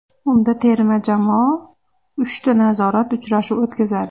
Unda terma jamoa uchta nazorat uchrashuv o‘tkazadi.